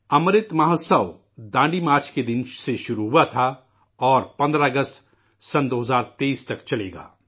امرت مہوتسو ڈانڈی یاترا کے دن سے شروع ہوا تھا اور 15 اگست 2023 تک چلےگا